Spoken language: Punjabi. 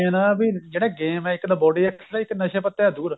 main ਵੀ ਜਿਹੜਾ game ਇੱਕ ਤਾਂ body ਰੱਖੇਗਾ ਇੱਕ ਨਸ਼ੇ ਪਤੇ ਤੋਂ ਦੂਰ